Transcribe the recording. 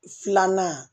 Filanan